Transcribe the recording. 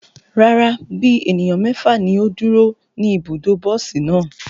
Rara, bi eniyan mẹfa ni o duro ni ibudo bosi naa